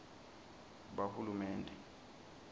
bahulumende